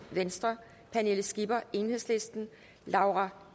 pernille skipper laura